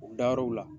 U dayɔrɔ la